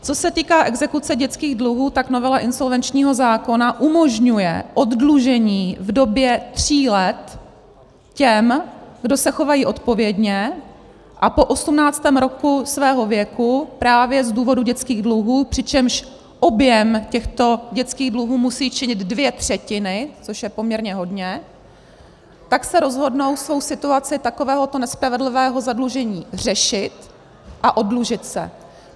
Co se týká exekuce dětských dluhů, tak novela insolvenčního zákona umožňuje oddlužení v době tří let těm, kdo se chovají odpovědně a po 18. roku svého věku, právě z důvodu dětských dluhů, přičemž objem těchto dětských dluhů musí činit dvě třetiny, což je poměrně hodně, tak se rozhodnou svou situaci takovéhoto nespravedlivého zadlužení řešit a oddlužit se.